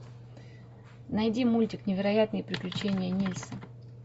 найди мультик невероятные приключения нильса